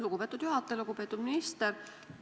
Lugupeetud minister!